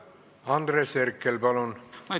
Andres Herkel, palun!